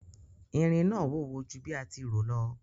Irin náà wúwo ju bí a ti rò lọ.